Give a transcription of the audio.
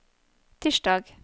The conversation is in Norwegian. tirsdag